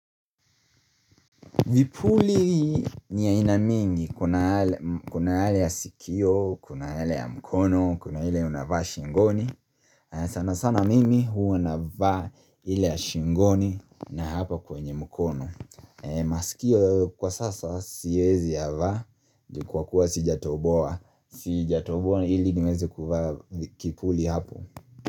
Vipuli ni ainamingi kuna yale sikio, kuna hali ya mkono, kuna hile unavaa shingoni sana sana mimi hua unavaa hile ya shingoni na hapa kwenye mkono masikio kwa sasa siwezi ya vaa, kwa kuwa sijatoboa Sijatoboa hili niwezi kuvaa kipuli hapo.